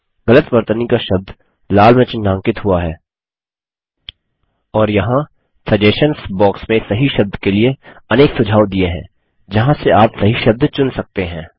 गलत वर्तनी का शब्द लाल में चिन्हांकित हुआ है और यहाँ सजेशंस बॉक्स में सही शब्द के लिए अनेक सुझाव दिए हैं जहाँ से आप सही शब्द चुन सकते हैं